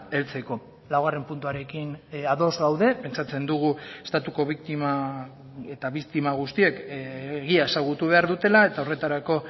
heltzeko laugarren puntuarekin ados gaude pentsatzen dugu estatuko biktima eta biktima guztiek egia ezagutu behar dutela eta horretarako